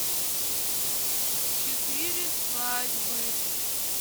четыре свадьбы